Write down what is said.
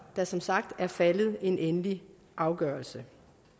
der som sagt er faldet en endelig afgørelse